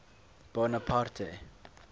bonaparte